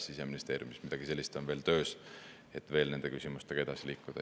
Siseministeeriumis midagi sellist on töös, et veel nende küsimustega edasi liikuda.